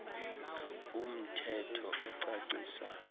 um thetho ocacisa